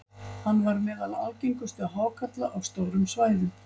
hann var meðal algengustu hákarla á stórum svæðum